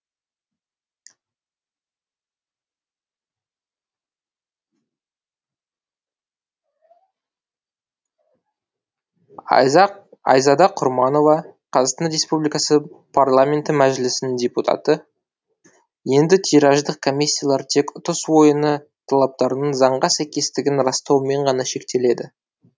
айзада құрманова қазақстан республикасы парламенті мәжілісінің депутаты енді тираждық комиссиялар тек ұтыс ойыны талаптарының заңға сәйкестігін растаумен ғана шектеледі